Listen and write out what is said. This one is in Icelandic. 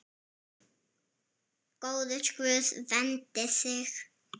Góður Guð verndi þig.